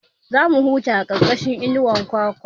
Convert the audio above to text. Za mu huta a ƙarƙashin inuwar bishiyar kwakwa